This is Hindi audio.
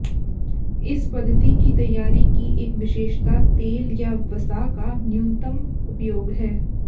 इस पद्धति की तैयारी की एक विशेषता तेल या वसा का न्यूनतम उपयोग है